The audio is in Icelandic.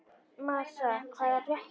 Marsa, hvað er að frétta?